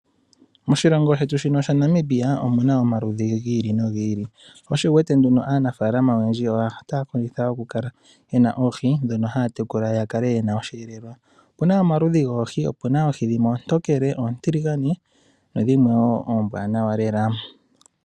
Moshilongo shetu shino shaNamibia omuna omaludhi goohi dhi ili nodhi ili, sho osho wuwete aanafaalama otaya kondjitha okukala yena oohi ndhono haya tekula opo yi imonene osheelelwa. Opena omaludhi goohi dhimwe oontokele, oontiligane nadhimwe wo oombwanawa lela.